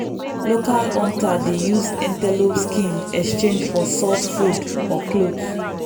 local hunter dey use antelope skin exchange for salt food or cloth.